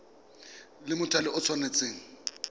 la mothale o le tshwanetse